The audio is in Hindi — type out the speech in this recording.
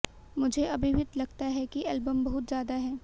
मुझे अभी भी लगता है कि एल्बम बहुत ज्यादा है